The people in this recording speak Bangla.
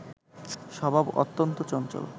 স্বভাব অত্যন্ত চঞ্চল